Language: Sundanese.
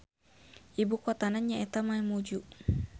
Ibukotana nyaeta Mamuju.